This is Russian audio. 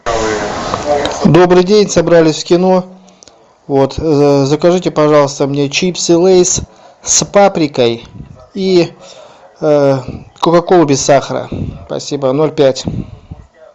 добрый день собрались в кино вот закажите пожалуйста мне чипсы лейс с паприкой и кока колу без сахара спасибо ноль пять